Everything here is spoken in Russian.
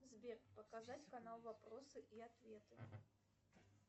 сбер показать канал вопросы и ответы